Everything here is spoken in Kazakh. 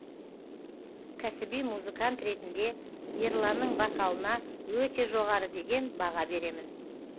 кәсіби музыкант ретінде ерланның вокалына өте жоғары деген баға беремін